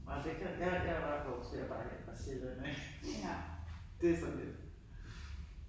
Nej det kan ja jeg jeg er bare vokset jeg har bare vænnet mig til det ik det sådan lidt